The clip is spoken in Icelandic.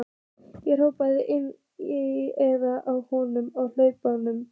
Ég hrópaði inn í eyrað á honum á hlaupunum.